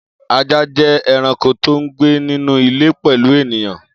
Ajá jẹ́ ẹranko tó ń gbé nínú ilé pẹ̀lú ènìyàn